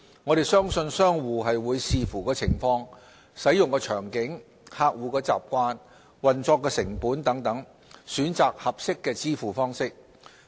我們相信商戶會視乎情況、使用場景、客戶習慣、運作成本等，選擇合適的支付方式。